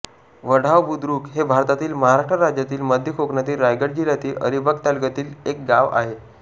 वढाव बुद्रुक हे भारतातील महाराष्ट्र राज्यातील मध्य कोकणातील रायगड जिल्ह्यातील अलिबाग तालुक्यातील एक गाव आहे